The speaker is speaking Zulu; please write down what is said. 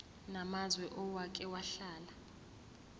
namazwe owake wahlala